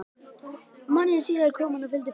Mánuði síðar kom hann í fylgd föður síns.